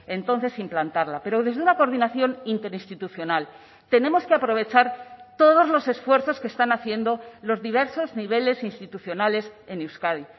entonces implantarla pero desde una coordinación interinstitucional tenemos que aprovechar todos los esfuerzos que están haciendo los diversos niveles institucionales en euskadi